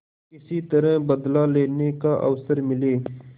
किसी तरह बदला लेने का अवसर मिले